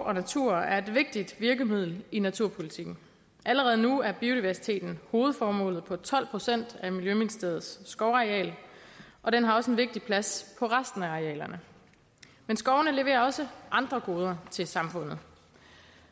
og natur er et vigtigt virkemiddel i naturpolitikken allerede nu er biodiversiteten hovedformålet på tolv procent af miljøministeriets skovareal og den har også en vigtig plads på resten af arealerne men skovene leverer også andre goder til samfundet